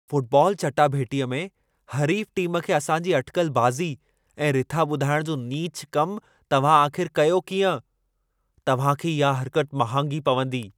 Football चाटाभेटीअ में हरीफ़ टीम खे असांजी अटिकल बाज़ी ऐं रिथा ॿुधाइण जो नीचु कमु तव्हां आख़िर कयो कीअं? तव्हां खे इहा हरकत महांगी पवंदी।